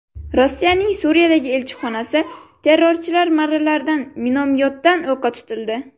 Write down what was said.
Rossiyaning Suriyadagi elchixonasi terrorchilar marralaridan minomyotdan o‘qqa tutildi.